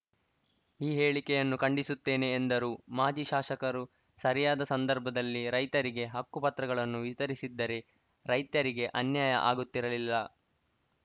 ಈ ಹೇಳಿಕೆಯನ್ನು ಖಂಡಿಸುತ್ತೇನೆ ಎಂದರು ಮಾಜಿ ಶಾಸಕರು ಸರಿಯಾದ ಸಂದರ್ಭದಲ್ಲಿ ರೈತರಿಗೆ ಹಕ್ಕುಪತ್ರಗಳನ್ನು ವಿತರಿಸಿದ್ದರೆ ರೈತರಿಗೆ ಅನ್ಯಾಯ ಆಗುತ್ತಿರಲಿಲ್ಲ